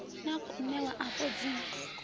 na khou ṋewa afha dzi